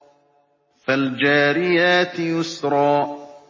فَالْجَارِيَاتِ يُسْرًا